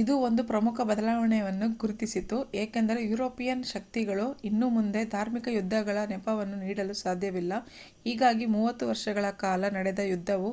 ಇದು ಒಂದು ಪ್ರಮುಖ ಬದಲಾವಣೆಯನ್ನು ಗುರುತಿಸಿತು ಏಕೆಂದರೆ ಯುರೋಪಿಯನ್ ಶಕ್ತಿಗಳು ಇನ್ನು ಮುಂದೆ ಧಾರ್ಮಿಕ ಯುದ್ಧಗಳ ನೆಪವನ್ನು ನೀಡಲು ಸಾಧ್ಯವಿಲ್ಲ ಹೀಗಾಗಿ ಮೂವತ್ತು ವರ್ಷಗಳ ಕಾಲ ನಡೆದ ಯುದ್ಧವು